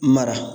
Mara